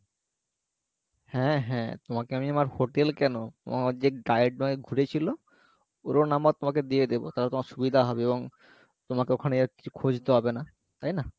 হ্যাঁ হ্যাঁ তোমাকে আমি আমার hotel কেনো, তোমার যে guide ঘুরে ছিলো ওরও number তোমাকে দিয়ে দেবো তালে তোমার সুবিধা হবে এবং তোমাকে ওখানে আর কিছু খুঁজতে হবে না তাই না?